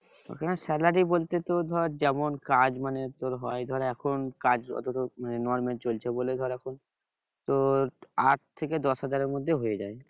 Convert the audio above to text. ওখানে salary বলতে তো ধর যেমন কাজ মানে তোর হয় ধর এখন কাজ মানে normal চলছে বলে ধর এখন তোর আট থেকে দশ হাজারের মধ্যে হয়ে যায়